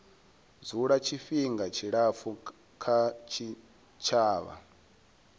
dzula tshifhinga tshilapfu kha tshitshavha